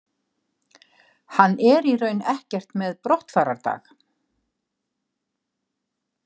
Hann er í raun ekkert með brottfarardag.